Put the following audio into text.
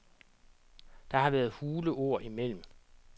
Der har været hule ord imellem.